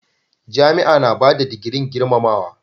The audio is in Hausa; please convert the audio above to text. Jami'a na bada digirin girmamawa.